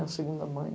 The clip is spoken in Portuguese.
Uma segunda mãe.